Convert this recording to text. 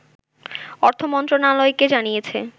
অর্থমন্ত্রণালয়কে জানিয়েছে